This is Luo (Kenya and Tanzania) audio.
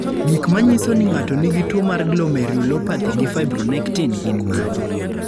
Gik manyiso ni ng'ato nigi tuwo mar Glomerulopathy gi fibronectin gin mage?